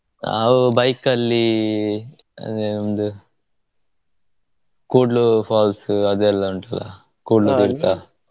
ನಾವು bike ಅಲ್ಲಿ ಅಂದ್ರೆ ಒಂದು Kudlu falls ಅದೆಲ್ಲಾ ಉಂಟಲ್ಲಾ .